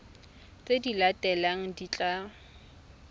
tse di latelang di tla